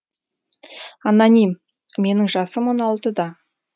аноним менің жасым он алтыда